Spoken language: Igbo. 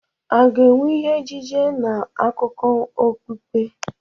A ga-enwe ihe ejije na akụkọ okpukpe?